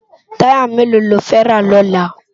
Tàyá méló ló fè rá lòlá?